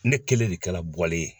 Ne kelen de kɛla bɔlen ye